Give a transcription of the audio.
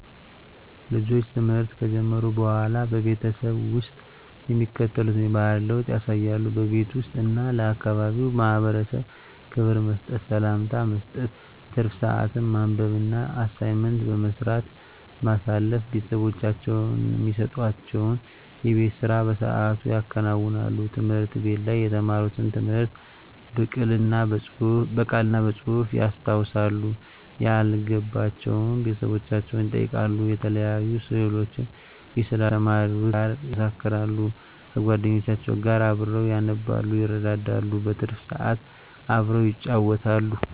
ልጆች ትምህርት ከጀመሩ በሆላ በቤተሰብ ውስጥ የሚከተሉትን የባህሪ ለውጥ ያሳያሉ:-በቤት ውስጥ እና ለአካባቢው ማህበረሰብ ክብር መስጠት፤ ሰላምታ መስጠት፤ ትርፍ ስአትን በማንበብ እና አሳይመንት በመስራት ማሳለፍ፤ ቤተሰቦቻቸው እሚሰጡዋቸውን የቤት ስራ በስአቱ ያከናውናሉ፤ ትምህርት ቤት ላይ የተማሩትን ትምህርት ብቅል እና በጹህፍ ያስታውሳሉ፤ ያልገባቸውን ቤተሰቦቻቸውን ይጠይቃሉ፤ የተለያዩ ስእሎችን ይስላሉ ከተማሩት ጋር ያመሳክራሉ፤ ከጎደኞቻቸው ጋር አብረው ያነባሉ ይረዳዳሉ። በትርፍ ስአት አብረው ይጫወታሉ።